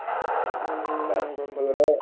হম্ হম্ হম্ গম পালো